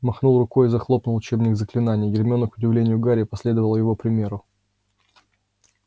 махнул рукой и захлопнул учебник заклинаний гермиона к удивлению гарри последовала его примеру